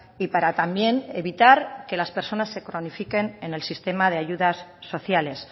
y para también evitar que las personas se cronifiquen en el sistema de ayudas sociales